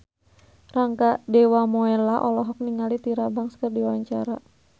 Rangga Dewamoela olohok ningali Tyra Banks keur diwawancara